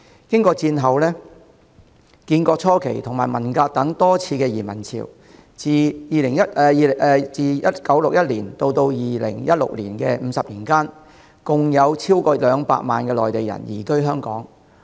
經過戰後、建國初期及文革等多次移民潮，自1961年至2016年的50年間，共有超過200萬名內地人移居香港。